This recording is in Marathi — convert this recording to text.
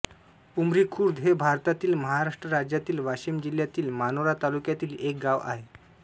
उमरीखुर्द हे भारतातील महाराष्ट्र राज्यातील वाशिम जिल्ह्यातील मानोरा तालुक्यातील एक गाव आहे